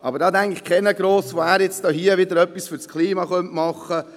Aber keiner denkt gross darüber nach, dass er etwas fürs Klima tun könnte.